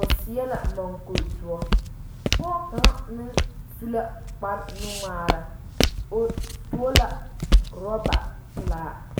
o seɛ la mɔŋkuri doɔ pɔge kaŋa meŋ su la kpar nuŋmaara o tuo la orɔba pelaa